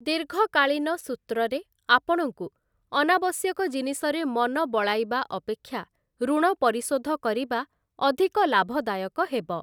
ଦୀର୍ଘକାଳୀନ ସୂତ୍ରରେ, ଆପଣଙ୍କୁ ଅନାବଶ୍ୟକ ଜିନିଷରେ ମନ ବଳାଇବା ଅପେକ୍ଷା ଋଣ ପରିଶୋଧ କରିବା ଅଧିକ ଲାଭଦାୟକ ହେବ ।